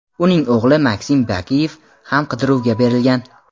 uning o‘g‘li Maksim Bakiyev ham qidiruvga berilgan.